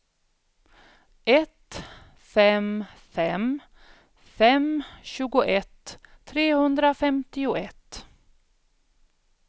ett fem fem fem tjugoett trehundrafemtioett